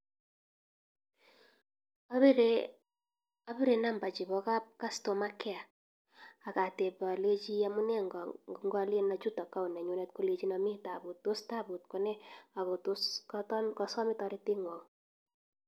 Abire number che ba kab[cs customer care akateb alechi amune ngo ngalen achut account nenyunet kolechino mi tabut tos tabut ko ne ako tos kasame torete ng'wong.